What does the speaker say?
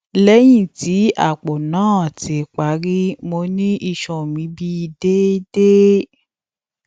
lẹhin ti apo naa ti pari mo ni iṣan mi bi deede